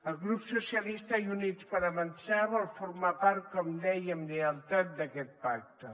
el grup socialistes i units per avançar vol formar part com deia amb lleialtat d’aquest pacte